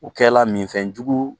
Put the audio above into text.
O kɛla minfɛn jugu